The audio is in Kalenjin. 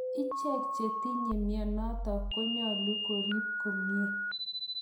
Ichek che tinye mianotok ko nyalu kerip komnye.